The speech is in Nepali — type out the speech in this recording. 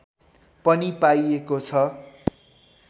पनि पाइएको छ